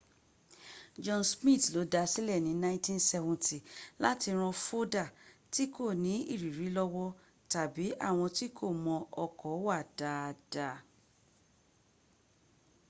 john smith ló dasílẹ̀ ní 1970 láti ran fódà tí kò nú ìrírí lọ́wọ́ tàbí àwọn tí kò mọ ọkọ̀ wà dáadáa